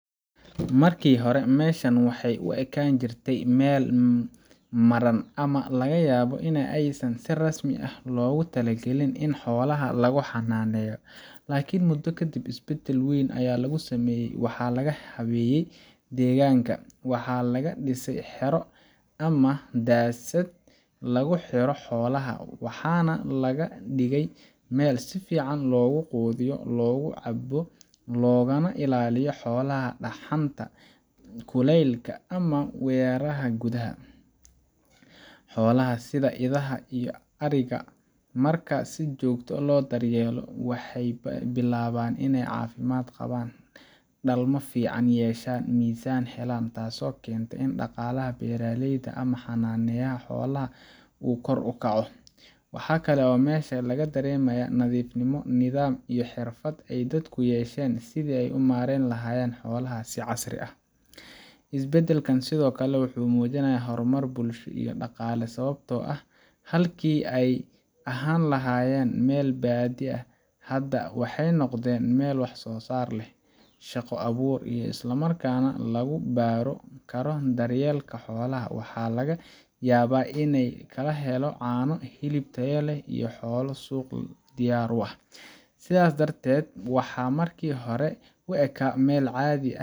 Marki hore meshan waxee u ekan jirte meel maran ama laga yabo in ee si rasmi ah logu talagalin in xolaha lagu xananeyo lakin mudo kadiib isbaadal aya lagu sameye waxaa laga xaqijiyey deganka waxaa laga dise xero ama madasaad lagu xiro xolaha waxana laga dige meel sifan logu qudhiyo, xolaha marki sifican lo datyeelo waxee yeshan cafimaad, isbadalkan wuxuu mujinaya waxaa laga yaba in ee kala helo cano iyo hilib tayo leh iyo xola suqu diyar u ah, aithas darteed waxaa marki hore u eka.